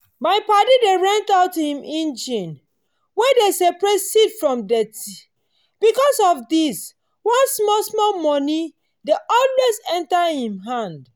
my padi dey rent out him engine wey dey separate seed from deti. because of this one small-small money dey always enter him him hand.